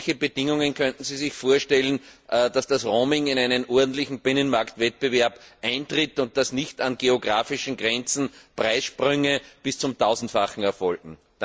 Welche Bedingungen könnten Sie sich vorstellen, damit das Roaming in einen ordentlichen Binnenmarktwettbewerb eintritt und nicht an geografischen Grenzen Preissprünge bis zum Tausendfachen erfolgen?